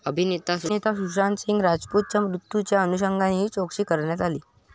अभिनेता सुशांतसिंह राजपूतच्या मृत्यूच्या अनुषंगाने ही चौकशी करण्यात आली.